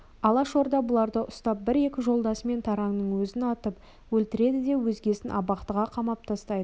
алашорда бұларды ұстап бір-екі жолдасы мен таранның өзін атып өлтіреді де өзгесін абақтыға қамап тастайды